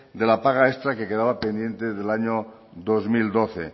de la paga extra que quedaba pendiente del año dos mil doce